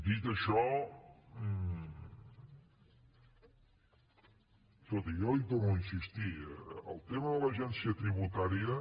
dit això escolti jo hi torno a insistir en el tema de l’agència tributària